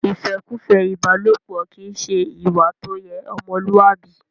ìfẹ́kùfẹ́ ìbálòpọ kìí ṣe ìwà tó yẹ ọmọlúwàbí.